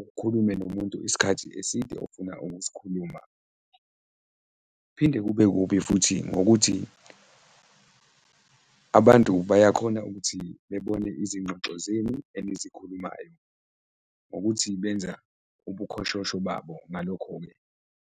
ukhulume nomuntu isikhathi eside ofuna ukusikhuluma. Phinde kube kubi futhi ngokuthi abantu bayakhona ukuthi bebone izingxoxo zenu enizikhulumayo ngokuthi benza ubukhoshosho babo ngalokho-ke.